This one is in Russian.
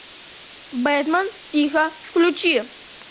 бэтмен тихо включи